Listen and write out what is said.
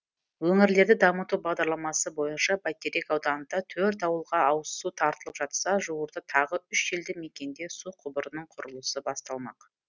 өңірлерді дамыту бағдарламасы бойынша бәйтерек ауданында төрт ауылға ауызсу тартылып жатса жуырда тағы үш елді мекенде су құбырының құрылысы басталмақ